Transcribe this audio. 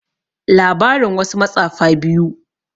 labarin wasu matsafa biyu